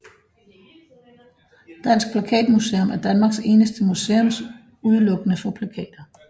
Dansk Plakatmuseum er Danmarks eneste museum udelukkende for plakater